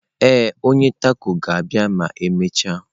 Ee, onye taco ga-abịa ma emechaa.